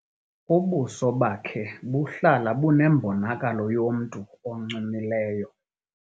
Ubuso bakhe buhlala bunembonakalo yomntu oncumileyo.